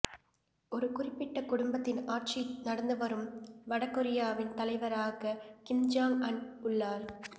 ஒரு குறிப்பிட்ட குடும்பத்தின் ஆட்சி நடந்து வரும் வடகொரியாவின் தலைவராக கிம் ஜாங் அன் உள்ளார்